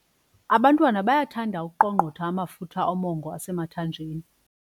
Abantwana bayathanda ukuqongqotha amafutha omongo osemathanjeni.